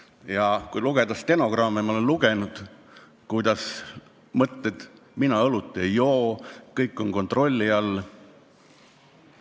Ja kui lugeda stenogramme – ma olen lugenud –, siis leiad sealt mõtteid: mina õlut ei joo, kõik on kontrolli all.